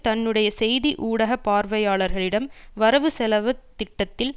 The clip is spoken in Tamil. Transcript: தன்னுடைய செய்தி ஊடக பார்வையாளர்களிடம் வரவு செலவு திட்டத்தில்